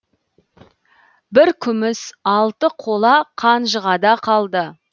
бір күміс алты қола қанжығада қалды